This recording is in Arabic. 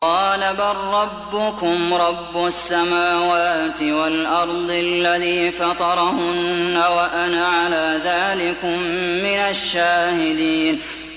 قَالَ بَل رَّبُّكُمْ رَبُّ السَّمَاوَاتِ وَالْأَرْضِ الَّذِي فَطَرَهُنَّ وَأَنَا عَلَىٰ ذَٰلِكُم مِّنَ الشَّاهِدِينَ